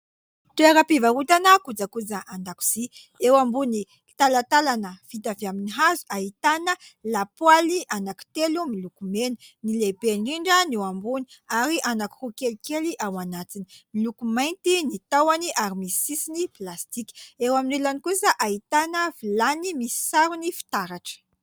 Toera-mpivarotana kojakoja andakosia, eo ambony talatalana vita avy amin'ny hazo ahitana lapoaly anaky telo milokomena, ny lehibe ndrindra ny eo ambony, ary anakiroa kelikely ao anatiny. Miloko mainty ny tahoany, ary misy sisiny plastika ; eo amin'ny ilany kosa ahitana vilany misy sarony fitaratra.